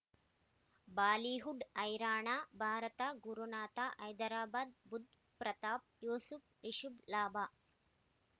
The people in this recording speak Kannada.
ಬಾಲಿವುಡ್ ಹೈರಾಣ ಭಾರತ ಗುರುನಾಥ ಹೈದರಾಬಾದ್ ಬುಧ್ ಪ್ರತಾಪ್ ಯೂಸುಫ್ ರಿಷಬ್ ಲಾಭ